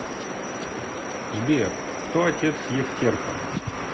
сбер кто отец евтерпа